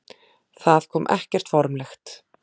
Það kom ekkert formlegt.